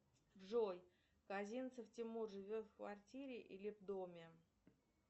джой казинцев тимур живет в квартире или доме